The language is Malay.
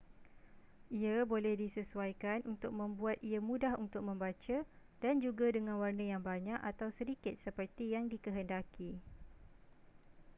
ia boleh disesuaikan untuk membuat ia mudah untuk membaca dan juga dengan warna yang banyak atau sedikit seperti yang dikehendaki